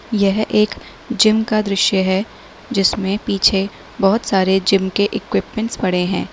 यह एक जिम का दृश्य है जिसमें पीछे बहोत सारे जिम के इक्विपमेंट्स पड़े हैं।